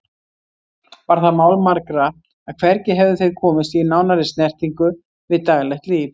Var það mál margra að hvergi hefðu þeir komist í nánari snertingu við daglegt líf